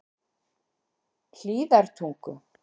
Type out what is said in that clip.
Hlíðartungu